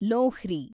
Lohri